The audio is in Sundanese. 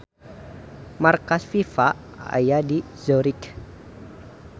Markas FIFA aya di Zurich.